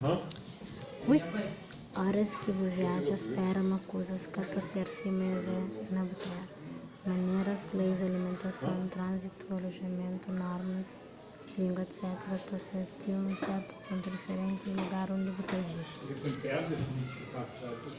oras ki bu viaja spera ma kuzas ka ta ser sima es é na bu tera maneras leis alimentason tránzitu alojamentu normas língua etc ta ser ti un sertu pontu diferenti di lugar undi bu ta vive